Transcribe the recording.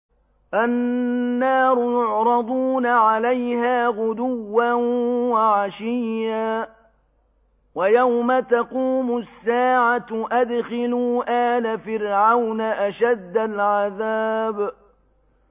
النَّارُ يُعْرَضُونَ عَلَيْهَا غُدُوًّا وَعَشِيًّا ۖ وَيَوْمَ تَقُومُ السَّاعَةُ أَدْخِلُوا آلَ فِرْعَوْنَ أَشَدَّ الْعَذَابِ